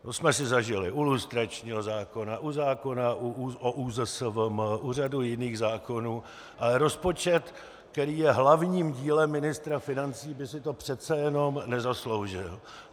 To jsme si zažili u lustračního zákona, u zákona o ÚZSVM, u řady jiných zákonů, ale rozpočet, který je hlavním dílem ministra financí, by si to přece jenom nezasloužil.